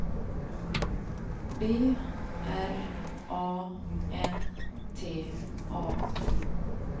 B R A N T A